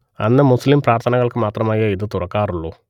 അന്ന് മുസ്ലിം പ്രാർത്ഥനകൾക്കു മാത്രമായേ ഇത് തുറക്കാറുള്ളൂ